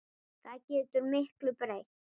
Það getur miklu breytt.